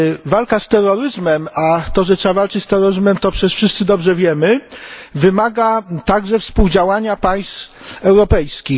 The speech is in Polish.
Walka z terroryzmem a to, że trzeba walczyć z terroryzmem to przecież wszyscy dobrze wiemy wymaga także współdziałania państw europejskich.